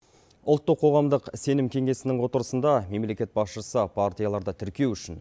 ұлттық қоғамдық сенім кеңесінің отырысында мемлекет басшысы партияларды тіркеу үшін